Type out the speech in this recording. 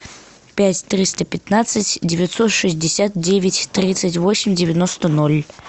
пять триста пятнадцать девятьсот шестьдесят девять тридцать восемь девяносто ноль